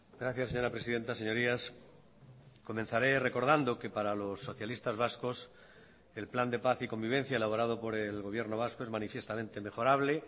gracias señora presidenta señorías comenzaré recordando que para los socialistas vascos el plan de paz y convivencia elaborado por el gobierno vasco es manifiestamente mejorable